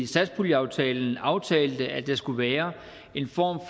satspuljeaftalen aftalte at der skulle være en form